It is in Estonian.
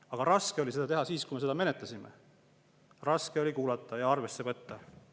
Aga raske oli seda teha siis, kui me seda menetlesime, raske oli kuulata ja arvesse võtta.